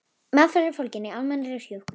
Meðferð er fólgin í almennri hjúkrun.